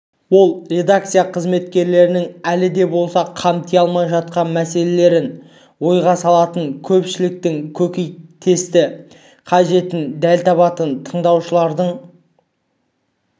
ол редакция қызметкерлерінің әлі де болса қамти алмай жатқан мәселелерін ойға салатын көпшіліктің көкейкесті қажетін дәл табатын тыңдаушылардың